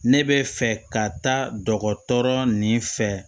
Ne bɛ fɛ ka taa dɔgɔtɔrɔ nin fɛ